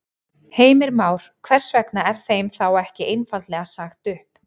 Heimir Már: Hvers vegna er þeim þá ekki einfaldlega sagt upp?